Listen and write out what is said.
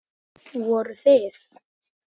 Voruð þið.